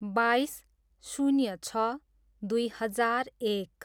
बाइस, शून्य छ, दुई हजार एक